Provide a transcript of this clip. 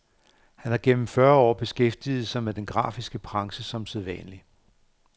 Han har gennem fyrre år beskæftiget sig med den grafiske branche som selvstændig.